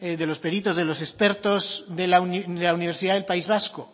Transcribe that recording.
de los peritos de los expertos de la universidad del país vasco